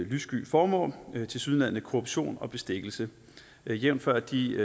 lyssky formål tilsyneladende korruption og bestikkelse jævnfør de